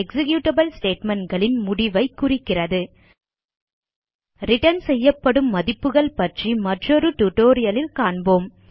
executable statementகளின் முடிவை குறிக்கிறது ரிட்டர்ன் செய்யப்படும் மதிப்புகள் பற்றி மற்றொரு டியூட்டோரியல் லில் காண்போம்